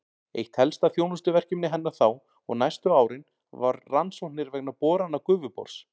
Eitt helsta þjónustuverkefni hennar þá og næstu árin var rannsóknir vegna borana Gufubors.